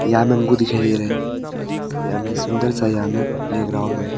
यहां बंबू दिखाई दे रहे यहां में सुन्दर सा यहाँ मे प्लेग्राउंड है।